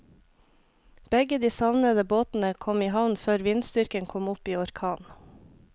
Begge de savnede båtene kom i havn før vindstyrken kom opp i orkan.